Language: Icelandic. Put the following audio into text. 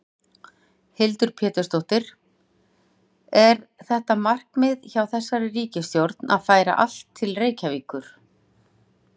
Hildur Pétursdóttir: Er þetta markmið hjá þessari ríkisstjórn að færa allt til Reykjavíkur?